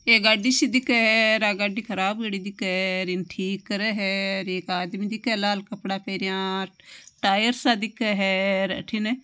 एक गाड़ी सी दिखे है र आ गाड़ी ख़राब हुयोड़ी दिखे है इन ठीक करे है एक आदमी दिखे लाल कपडा पहरया र टायर सा दिखे है अठीने।